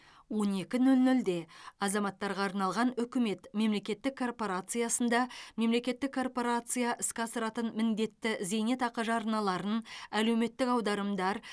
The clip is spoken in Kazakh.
он екі нөл нөлде азаматтарға арналған үкімет мемлекеттік корпорациясында мемлекеттік корпорация іске асыратын міндетті зейнетақы жарналарын әлеуметтік аударымдар